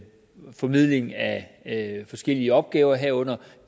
formidling af forskellige opgaver herunder